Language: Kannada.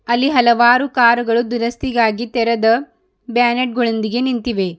ಅಲ್ಲಿ ಹಲವಾರು ಕಾರುಗಳು ದುರಸ್ತಿಗಾಗಿ ತೆರೆದ್ ಬ್ಯಾನೆಟ್ ಗಳೊಂದಿಗೆ ನಿಂತಿವೆ.